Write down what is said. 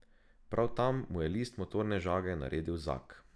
Prav tam mu je list motorne žage naredil zag.